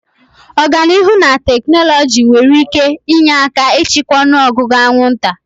Ọganihu na teknụzụ nwere ike inye aka ịchịkwa ọnụ ọgụgụ anwụnta.